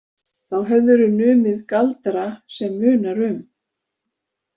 Þá hefðirðu numið galdra sem munar um.